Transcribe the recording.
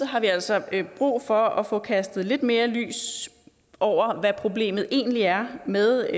har vi altså brug for at få kastet lidt mere lys over hvad problemet egentlig er med